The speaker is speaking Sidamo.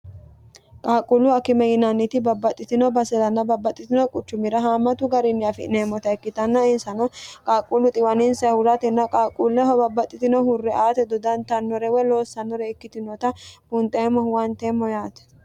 qaaqquullu akkime yinanniti babbaxxitino baseranna babbaxxitino quchumira haamatu garinni afi'neemmota ikkitanna insano qaaqquullu xiwaninse huratenna qaaqquulleho babbaxxitinohu dodantannore woyi loossannore ikkitinota bunxeemmo huwanteemmo yaate